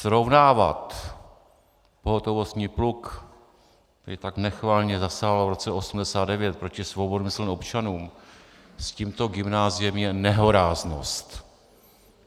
Srovnávat pohotovostní pluk, který tak nechvalně zasáhl v roce 1989 proti svobodomyslným občanům, s tímto gymnáziem je nehoráznost.